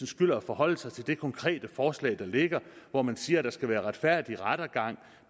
skylder at forholde sig til det konkrete forslag der ligger hvor man siger at der skal være retfærdig rettergang